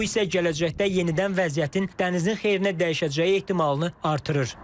Bu isə gələcəkdə yenidən vəziyyətin dənizin xeyrinə dəyişəcəyi ehtimalını artırır.